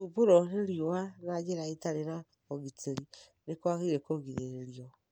Gũthumbũrũo nĩ riũa na njĩra ĩtarĩ na ũgitĩri nĩ kwagĩrĩirũo kũgirĩrĩrio.